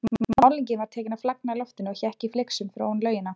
Málningin var tekin að flagna í loftinu og hékk í flygsum fyrir ofan laugina.